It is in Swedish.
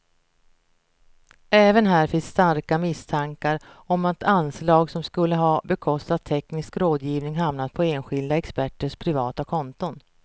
Även här finns starka misstankar om att anslag som skulle ha bekostat teknisk rådgivning hamnat på enskilda experters privata konton.